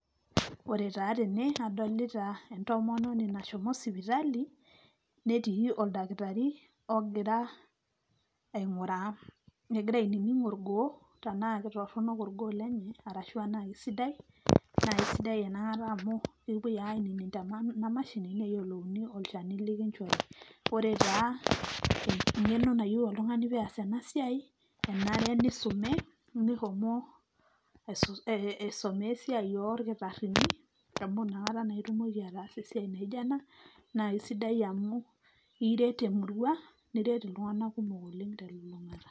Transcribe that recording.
Ore taa tene adolita entomononi nashomo sipitali netii oldakitari ogira ang'ura . Egira ainining orgoo tena kitorono orgoo lenye arashu anaa kisidai ,naa kisidai inakata amu kepuoi ainining' te emashini neyiolouni olchani oishori. Ore taa eng'eno nayieu oltungani peeas ena siai , kenare nisume, nishomo aisomea esiai oldakitarini amu inakata naa itumoki ataasa esiai naijo ena. Naa kisidai amu iret emurua ,niret iltung'anak kumok oleng' te lulung'ata.